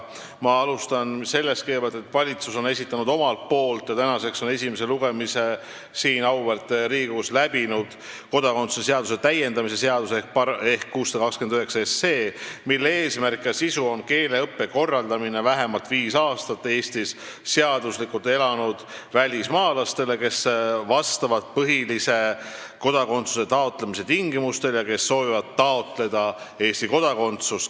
Ma alustan sellest, et valitsus on esitanud kodakondsuse seaduse täiendamise seaduse eelnõu 629, mis tänaseks on siin auväärt Riigikogus esimese lugemise läbinud ning mille eesmärk ja sisu on keeleõpe vähemalt viis aastat Eestis seaduslikult elanud välismaalastele, kes vastavad põhilistele kodakondsuse taotlemise tingimustele ja kes soovivad Eesti kodakondsust taotleda.